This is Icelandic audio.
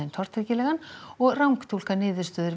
tortryggilegan og rangtúlka niðurstöður